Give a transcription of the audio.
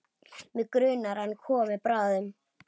Mig grunar að hann komi bráðum.